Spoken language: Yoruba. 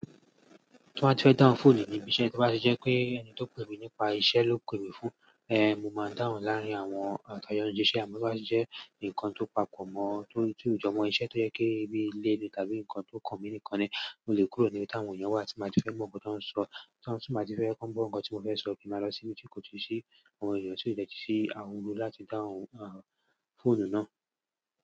Tí won ba tí fẹ́ dáhùn fóònù níbi iṣẹ́ tí o pà tí jẹ́ pé ẹni tó pè mí nípa iṣẹ́ ló pè mí fún, eh, mo máa dáhùn láàárín àwọn àwon ta jo síṣẹ́ àmọ́ to ba wà tí jẹ́ nǹkan tó pàkọ̀ mọ́ ọ, ti ojọmọ́ iṣẹ́ tó jẹ́ pé bí ilé ni tàbí nǹkan tó kàn mí nìkan ni mo lè kúrò níbi tí àwọn èèyàn wà tí mo bá ti fẹ́ gbo nkan to ń sọ, tí wà tí mi bá ti fẹ́ kan gbọ̀ ohun tí mo fẹ́ sọ mo máa lọ síbi tí kò tí ì ṣí àwọn èèyàn tí ó lè tí ì ṣí ahunro láti dáhùn a fóònù náà.